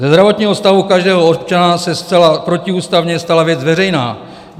Ze zdravotního stavu každého občana se zcela protiústavně stala věc veřejná.